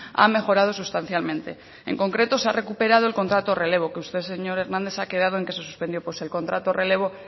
ha mejorado sustancialmente en concreto se ha recuperado el contrato relevo que usted señor hernández ha quedado en que se suspendió pues el contrato relevo